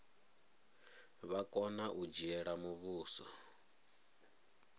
vha kona u dzhiela muvhuso